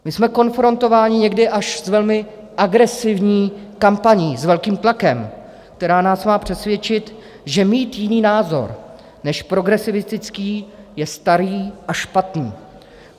My jsme konfrontováni někdy až s velmi agresivní kampaní s velkým tlakem, která nás má přesvědčit, že mít jiný názor než progresivistický je staré a špatné.